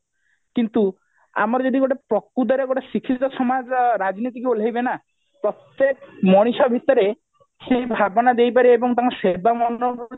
କିନ୍ତୁ ଆମର ଯଦି ଗୋଟେ ପ୍ରକୃତରେ ଗୋଟେ ଶିକ୍ଷିତ ସମାଜ ରାଜନୀତିକୁ ଓଲେହିବେ ନା ପ୍ରତ୍ଯେକ ମଣିଷ ଭିତରେ ସେଇ ଭାବନା ଦେଇ ପାରିବେ ଏବଂ ତାଙ୍କ ସେବା ମନୋବୃତି